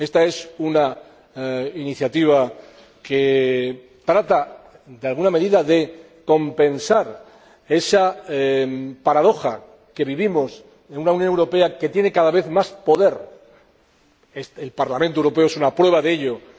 Esta es una iniciativa que, en alguna medida, trata de compensar esa paradoja que vivimos una Unión Europea que tiene cada vez más poder el Parlamento Europeo es una prueba de ello una